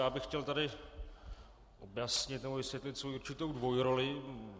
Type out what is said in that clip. Já bych chtěl tady objasnit, nebo vysvětlit, svoji určitou dvojroli.